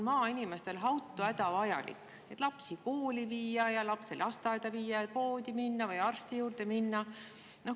Maainimesele on auto hädavajalik, et lapsi kooli ja lasteaeda viia, minna poodi või arsti juurde.